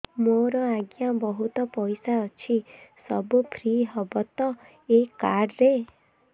ମୋର ଆଜ୍ଞା ବହୁତ ପଇସା ଅଛି ସବୁ ଫ୍ରି ହବ ତ ଏ କାର୍ଡ ରେ